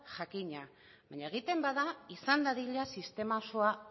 jakina baina egiten bada izan dadila sistema osoa